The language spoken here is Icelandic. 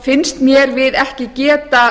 finnst mér við ekki geta